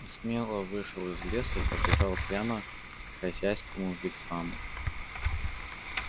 он смело вышел из лесу и побежал прямо к хозяйскому вигваму